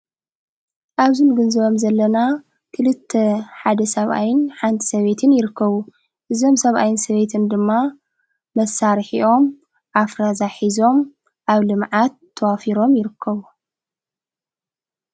ኣብዚ ንግንዘበም ዘለና ክልተ ሓደ ሰብኣይ ሓንቲ ሰበይትን ይርከቡ እዞም ሰብኣይን ሰበትን ድማ መሳርኦምሒ ኣፍረዛ ሒዞም ኣብ ልመዓት ተዋፊሮም ይርከቡ።